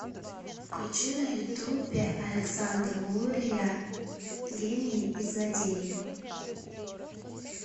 включи на ютубе александра лурия гении и злодеи